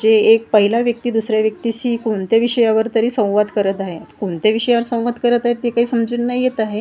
जे एक पहिला व्यक्ती दुसऱ्या व्यक्तीशी कोणत्या विषयावर तरी संवाद करत आहे कोणत्या विषयावर संवाद करत आहे ते काय समजून नाही येत आहे.